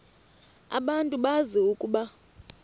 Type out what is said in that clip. abantu bazi ukuba